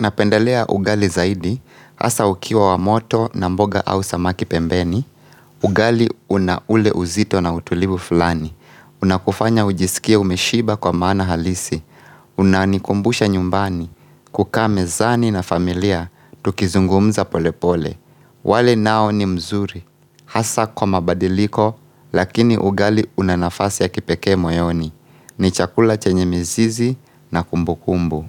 napendelea ugali zaidi, hasa ukiwa wa moto na mboga au samaki pembeni, ugali una ule uzito na utulivu fulani, unakufanya ujisikie umeshiba kwa maana halisi, unanikumbusha nyumbani, kukaa mezani na familia, tukizungumza pole pole. Wali nao ni mzuri, hasa kwa mabadiliko, lakini ugali una nafasi ya kipekee moyoni, ni chakula chenye mizizi na kumbu kumbu.